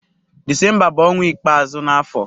Disemba bu onwa ikpeazu na afo.